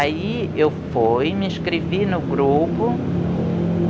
Aí eu fui, me inscrevi no grupo.